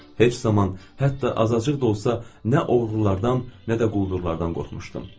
Heç zaman, hətta azacıq da olsa, nə oğrulardan, nə də quldurlardan qorxmuşdum.